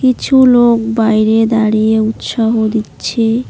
কিছু লোক বাইরে দাঁড়িয়ে উৎসাহ দিচ্ছে।